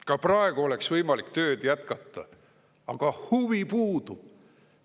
Ka praegu oleks võimalik tööd jätkata, aga huvi puudub.